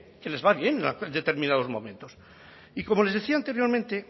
que les va bien en determinados momentos y como les decía anteriormente